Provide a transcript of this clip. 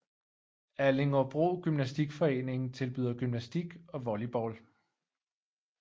Allingåbro Gymnastikforening tilbyder gymnastik og volleyball